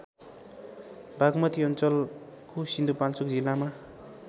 बागमती अञ्चलको सिन्धुपाल्चोक जिल्लामा